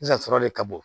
Sisan sɔrɔ de ka bon